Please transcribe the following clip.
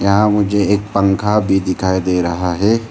यहां मुझे एक पंखा भी दिखाई दे रहा है।